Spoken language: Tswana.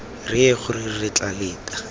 reye gore re tla leta